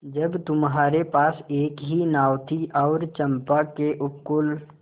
जब तुम्हारे पास एक ही नाव थी और चंपा के उपकूल